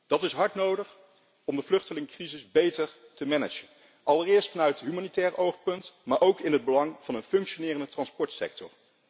Dat is hard nodig om de vluchtelingencrisis beter te managen, allereerst vanuit humanitair oogpunt, maar ook in het belang van een functionerende transportsector.